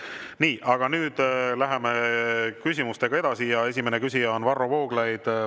Nii, aga nüüd läheme küsimustega edasi ja esimene küsija on Varro Vooglaid.